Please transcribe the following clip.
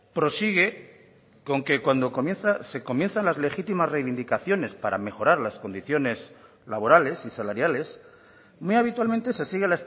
prosigue con que cuando se comienzan las legítimas reivindicaciones para mejorar las condiciones laborales y salariales muy habitualmente se sigue